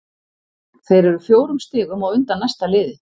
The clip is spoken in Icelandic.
Þeir eru fjórum stigum á undan næsta liði.